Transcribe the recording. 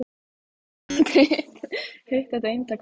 Ég hef aldrei hitt þetta eintak fyrr.